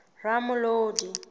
ramolodi